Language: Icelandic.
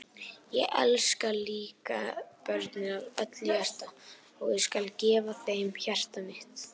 Ég elska líka börnin af öllu hjarta og ég skal gefa þeim hjarta mitt.